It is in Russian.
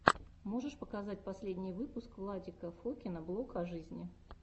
можешь показать последний выпуск владика фокина блог о жизни